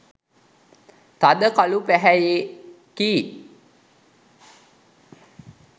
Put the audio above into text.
තද කළු පැහැයෙකි.